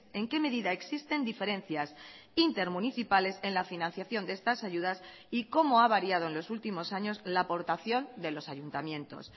en qué medida existen diferencias intermunicipales en la financiación de estas ayudas y cómo ha variado en los últimos años la aportación de los ayuntamientos